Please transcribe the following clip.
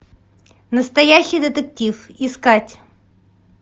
настоящий детектив искать